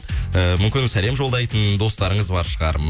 ііі мүмкін сәлем жолдайтын достарыңыз бар шығар